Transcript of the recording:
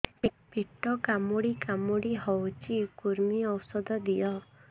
ପେଟ କାମୁଡି କାମୁଡି ହଉଚି କୂର୍ମୀ ଔଷଧ ଦିଅ